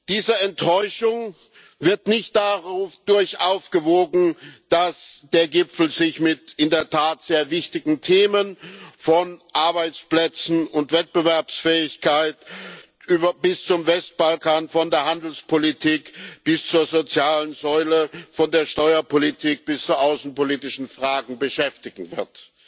Diese Enttäuschung wird nicht dadurch aufgewogen, dass der Gipfel sich mit in der Tat sehr wichtigen Themen von Arbeitsplätzen und Wettbewerbsfähigkeit bis zum Westbalkan, von der Handelspolitik bis zur sozialen Säule, von der Steuerpolitik bis zu außenpolitischen Fragen beschäftigen wird.